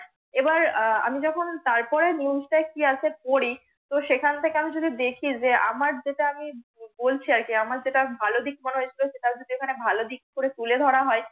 এবার আহ আমি যখন তার পরে NEWS কি আসে পড়ি তো সে খান থেকে আমি যদি দেখি যে আমার যেটা আমি বলছি আর কি আমার যেটা ভালো দিক মনে হয়েছিল সেটা যদি এখানে ভালো দিক মনে করে তুলে ধরা হয়